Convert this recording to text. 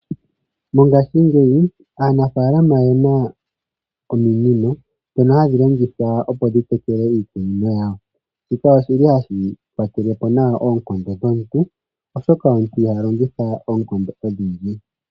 Mongashingeyi aanafaalama oye na ominino ndhono hadhi longithwa opo aantu ya tekele iikunino yawo. Shika ohashi kwatele po nawa oonkondo dhomuntu oshoka omuntu iha longitha oonkondo odhindji.